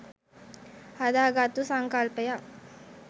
හදාගත්තු සංකල්පයක්.